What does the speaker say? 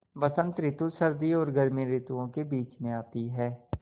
बसंत रितु सर्दी और गर्मी रितुवो के बीच मे आती हैँ